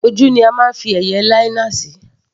Ojú ni a máa ń fi eye - linear sí.